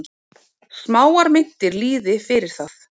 Smáar myntir lýði fyrir það.